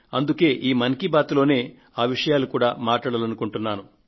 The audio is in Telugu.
అందుకే ఈ మన్ కీ బాత్ లోనే ఆ విషయాలు కూడా మాట్లాడాలనుకున్నాను